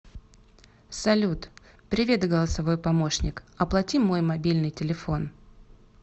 салют привет голосовой помощник оплати мой мобильный телефон